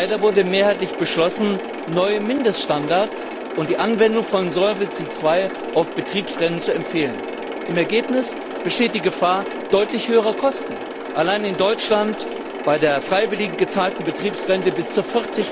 Leider wurde mehrheitlich beschlossen, neue Mindeststandards und die Anwendung von Solvency II auf Betriebsrenten zu empfehlen. Im Ergebnis besteht die Gefahr deutlich höherer Kosten allein in Deutschland bei der freiwillig gezahlten Betriebsrente bis zu